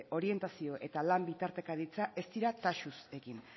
orientazio eta lan bitartekaritza ez dira taxuz egin